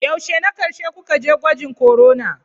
Yaushe na ƙarshe kuka je gwajin corona?